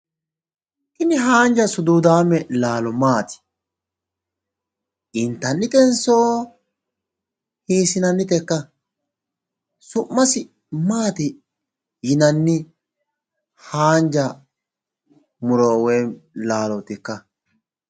tini haanja suduudaame laalo maati?, intannitenso hiissinanitekka?,su'masi maati yinannitekka?